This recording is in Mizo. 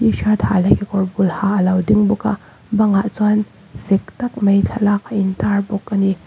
t shirt ha leh kekawr bul ha alo ding bawk a bang ah chuan sek tak mai thlalak a in tar bawk ani.